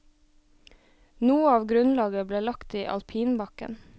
Noe av grunnlaget ble lagt i alpinbakken.